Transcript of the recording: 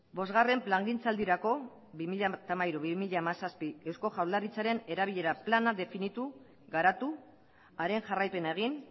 bosgarren plangintzaldirako bi mila hamairu bi mila hamazazpi eusko jaurlaritzaren erabilera plana definitu garatu haren jarraipena egin